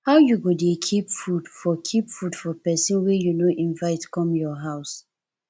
how you go dey keep food for keep food for pesin wey you no invite come your house